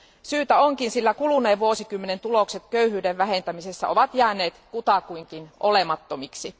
Syytä onkin, sillä kuluneen vuosikymmenen tulokset köyhyyden vähentämisessä ovat jääneet kutakuinkin olemattomiksi.